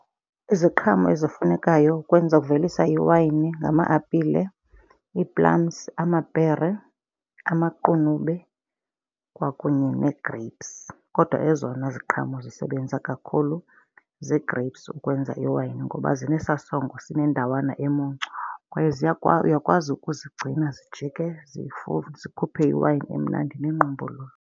Iziqhamo ezifunekayo ukwenza ukuvelisa iwayini ngama-apile, ii-plums amapere, amaqunube kwakunye nee-grapes. Kodwa ezona ziqhamo zisebenza kakhulu zii-grapes ukwenza iwayini ngoba zinesaa sondlo sineendawana emuncu kwaye uyakwazi ukuzigcina zijike zifune zikhuphe iwayini emnandi neyingqumbululu.